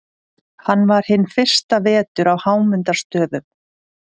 Hann var hinn fyrsta vetur á Hámundarstöðum.